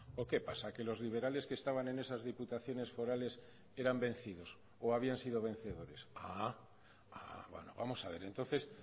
o qué pasa que los liberales que estaban en esas diputaciones forales eran vencidos o habían sido vencedores vamos a ver entonces